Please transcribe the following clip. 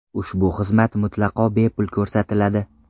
Ushbu xizmat mutlaqo bepul ko‘rsatiladi.